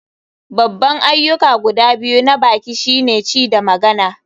Babban ayyuka guda biyu na baki shine ci da magana.